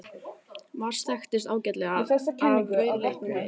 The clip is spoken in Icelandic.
Mars þekkist ágætlega af rauðleitum lit.